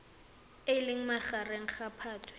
le leng magareng ga phatwe